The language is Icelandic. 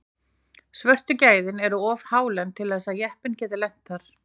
Svörtu svæðin eru of hálend til þess að jeppinn geti lent þar.